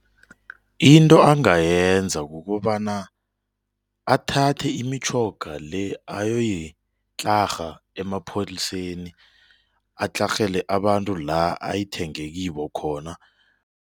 Into angayenza kukobana athathe imitjhoga le ayoyitlarha emapholiseni atlarhele abantu la ayithenge kibo khona.